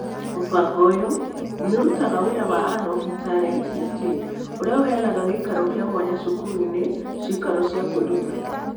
Mũbango ũyũ nĩ ũrutaga wĩra wa Unlocking Talent (UT), ũrĩa ũheanaga gĩikaro kĩa mwanya cukuru-inĩ (ikaro cia kwĩruta).